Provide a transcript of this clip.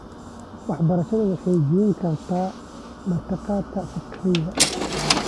Waxbarashadu waxay jebin kartaa meertada faqriga ee .